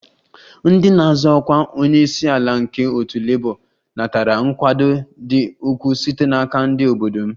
Ndị na-azọ ọkwa onye isi ala nke otu Labour natara nkwado dị ukwuu site n'aka ndị obodo m